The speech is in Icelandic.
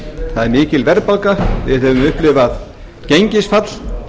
það er mikil verðbólga við höfum upplifað gengisfall